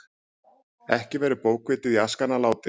Ekki verður bókvitið í askana látið.